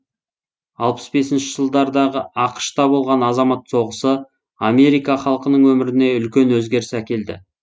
алпыс бесінші жылдардағы ақш та болған азамат соғысы америка халқының өміріне үлкен өзгеріс әкелді